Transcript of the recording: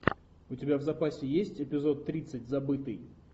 у тебя в запасе есть эпизод тридцать забытый